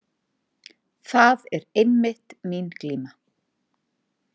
Það er einmitt mín glíma.